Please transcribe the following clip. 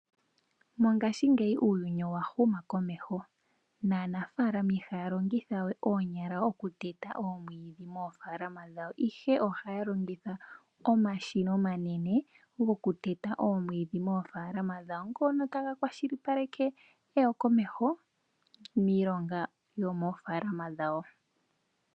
Mongashingeyi uuyuni owahuma komeho naanafaalama ihaya longitha we oonyala okuteta oomwidhi moofalama dhawo ihe ohaya longitha omashina omanene gokuteta oomwidhi moofalama dahwo ngoa taga kwashilipaleke eyo komeho miilonga yomofaalama dhawo.